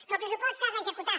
però el pressupost s’ha d’executar